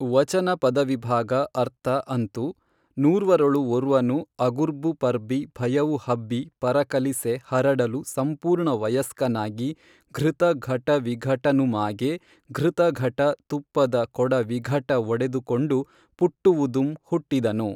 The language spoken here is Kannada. ವಚನ ಪದವಿಭಾಗ ಅರ್ಥ ಅಂತು ನೂರ್ವರೊಳು ಒರ್ವನು ಅಗುರ್ಬು ಪರ್ಬಿ ಭಯವು ಹಬ್ಬಿ ಪರಕಲಿಸೆ ಹರಡಲು ಸಂಪೂರ್ಣ ವಯಸ್ಕನಾಗಿ ಘೃತಘಟವಿಘಟನುಮಾಗೆ ಘೃತಘಟ ತುಪ್ಪದ ಕೊಡ ವಿಘಟ ಒಡೆದುಕೊಂಡು ಪುಟ್ಟುವುದುಂ ಹುಟ್ಟಿದನು